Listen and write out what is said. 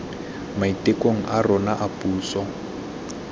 maitekong a rona a puso